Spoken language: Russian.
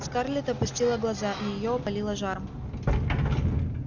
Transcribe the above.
скарлетт опустила глаза её опалило жаром